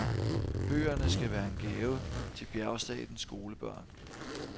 Bøgerne skal være en gave til bjergstatens skolebørn.